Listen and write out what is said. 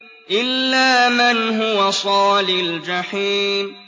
إِلَّا مَنْ هُوَ صَالِ الْجَحِيمِ